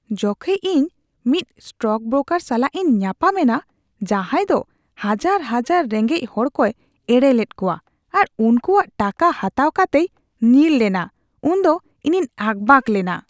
ᱡᱚᱠᱷᱮᱡ ᱤᱧ ᱢᱤᱫ ᱥᱴᱚᱠᱵᱨᱳᱠᱟᱨ ᱥᱟᱞᱟᱜ ᱤᱧ ᱧᱟᱯᱟᱢᱮᱱᱟ ᱡᱟᱡᱟᱸᱭ ᱫᱳ ᱦᱟᱡᱟᱨ ᱦᱟᱡᱟᱨ ᱨᱮᱸᱜᱮᱡ ᱦᱚᱲᱠᱚᱭ ᱮᱲᱮ ᱞᱮᱫ ᱠᱚᱣᱟ ᱟᱨ ᱩᱱᱠᱩᱣᱟᱜ ᱴᱟᱠᱟ ᱦᱟᱛᱟᱣ ᱠᱟᱛᱮᱭ ᱧᱤᱨᱞᱮᱫᱟ, ᱩᱱᱫᱚ ᱤᱧᱤᱧ ᱟᱠᱵᱟᱠ ᱞᱮᱱᱟ ᱾